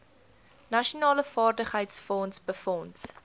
nasionale vaardigheidsfonds befonds